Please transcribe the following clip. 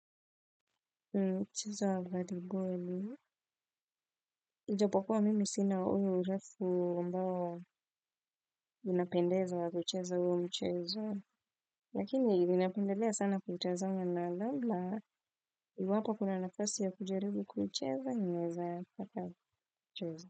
Cheza voliboli. Ijapokuwa mimi sina uyo urefu ambao unapendezwa wa kucheza huo mchezo. Lakini, ninapendelea sana kutazama na labla. Iwapo kuna nafasi ya kujaribu kuucheza naweza taka kucheza.